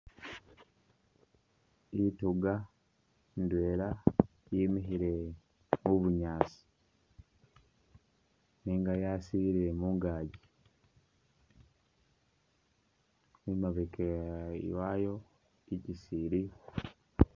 Intuga ndwela yemikhile mu bunyaasi nenga yasilile mungaaji, imabega wayo ikisi iliyo.